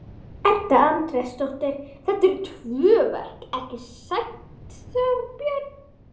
Edda Andrésdóttir: Þetta eru tvö verk ekki satt Þorbjörn?